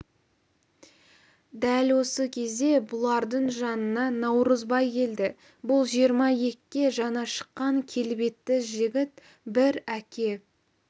дәл осы кезде бұлардың жанына наурызбай келді бұл жиырма екіге жаңа шыққан келбетті жігіт бір әке